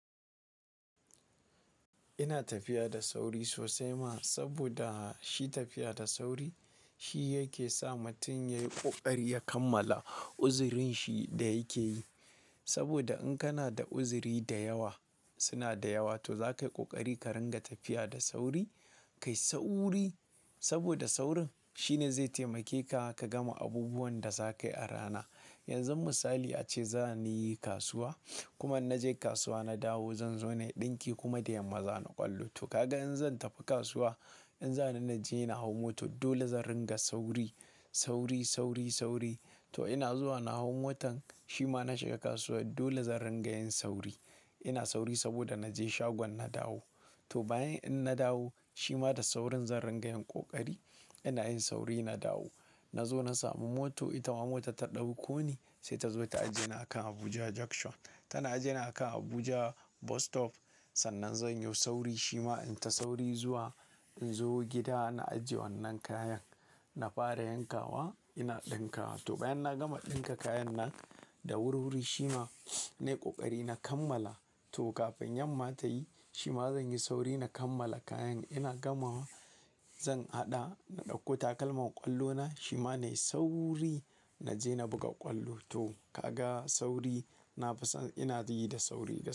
Ina tafiya da sauri sosai ma, saboda shi tafiya da sauri shi yake sa mutum yayi ƙoƙari ya kammala uzurin shi da yake yi. Saboda in kana da uzuri da yawa, suna da yawa to za kayi ƙoƙari ka ringa tafiya da sauri, kayi sauri saboda saurin shine zai taimake ka, ka gama abubuwan da za ka yi a rana. Yanzu misali ace za ni yi kasuwa kuma na je kasuwa na dawo zan zo nayi ɗinki kuma da yamma za ni kwallo. To kaga in zan tafi kasuwa, in zanaje na je na hau mota dole zan ringa sauri, sauri, sauri, sauri to ina zuwa na hau motan shi ma na shiga kasuwa dole zan ringa yin sauri. Ina sauri saboda na je shagon na dawo. To bayan in na dawo shi ma da saurin zan ringa yin ƙoƙari. Ina yin sauri na dawo. Na zo na samu mota, ita ma mota ta ɗauko ni sai ta zo ta ajiye ni a kan Abuja Junction. Tana ajiye ni a kan Abuja Bus Stop. Sannan zan yo sauri shi ma in ta sauri zuwa in zo gida na ajiye wannan kayan. Na fara yankawa ina ɗinka. To bayan na gama ɗinka kayan nan da wurwuri shi ma nayi ƙoƙari na kammala. To kafin yamma ta yi shi ma zan yi sauri na kammala kayan ina gama zan haɗa na ɗauko takalman ƙwallo na shi ma nayi sauri na je na buga ƙwallo. To kaga sauri, na fi son ina yi da sauri da yawa.